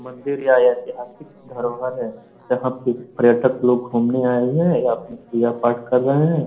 मंदिर या ऐतिहासिक धरोहर है। यहाँ पे पर्यटक लोग घूमने आये हुए हैं या अपने पूजा पाठ कर रहे हैं।